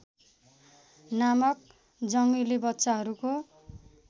नामक जङ्गली बच्चाहरूको